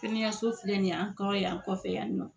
Kɛnɛyaso filɛ ni ye an kɔrɔ yan an kɔfɛ yan nɔ